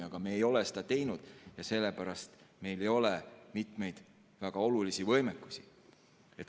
Aga me ei ole seda teinud ja sellepärast ei olegi meil mitmeid väga olulisi võimekusi.